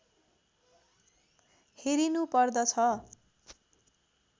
हेरिनु पर्दछ